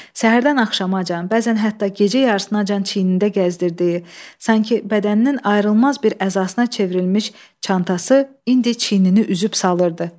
Səhərdən axşamacan, bəzən hətta gecə yarısınacan çiynində gəzdirdiyi, sanki bədəninin ayrılmaz bir əzasına çevrilmiş çantası indi çiynini üzüb salırdı.